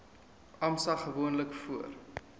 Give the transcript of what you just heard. asma gewoonlik voor